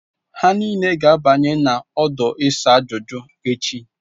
Ha niile ga-abanye n'ọdụ isa ajuju echi.